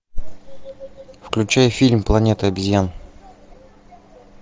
включай фильм планета обезьян